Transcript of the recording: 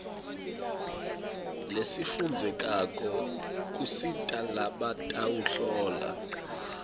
lesifundzekako kusita labatawuhlola